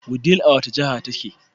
Wudil a wace jahar take